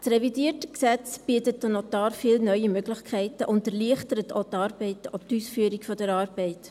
Das revidierte Gesetz bietet den Notaren viele neue Möglichkeiten und erleichtert auch die Ausführung der Arbeit.